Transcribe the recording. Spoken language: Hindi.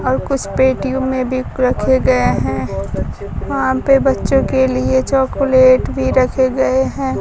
और कुछ पेटीयों में भी रखे गए हैं वहां पे बच्चों के लिए चोकलेट भी रखे गए हैं।